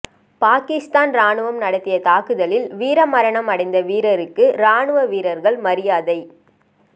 பாகிஸ்தான் ராணுவம் நடத்திய தாக்குதலில் வீரமரணம் அடைந்த வீரருக்கு ராணுவ வீரர்கள் மரியாதை